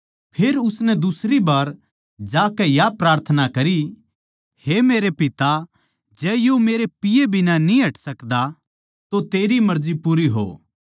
फेर उसनै दुसरी बै जाकै या प्रार्थना करी हे मेरे पिता जै यो मेरै पिए बिना न्ही हट सकदा तो तेरी मर्जी पूरी हो